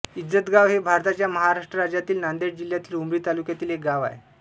इज्जतगाव हे भारताच्या महाराष्ट्र राज्यातील नांदेड जिल्ह्यातील उमरी तालुक्यातील एक गाव आहे